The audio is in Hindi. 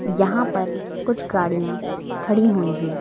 यहाँ पर कुछ गाड़ियां खड़ी हुई हैं।